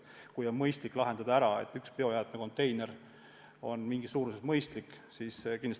Kindlasti on arukas lahendada nii, et mõistlik on üks kindlas suuruses biojäätmekonteiner.